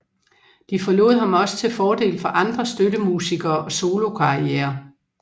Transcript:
De forlod ham også til fordel for andre støttemusikere og solokarrierer